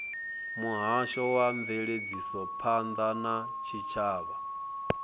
muhasho wa mveledzisophan ḓa ya tshitshavha